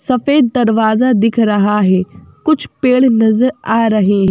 सफेद दरवाजा दिख रहा है कुछ पेड़ नजर आ रहे--